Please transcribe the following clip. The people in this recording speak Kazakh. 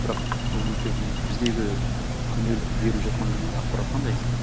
бірақ үлкен минус біздегі күнделікті беріп жатқан ақпарат қандай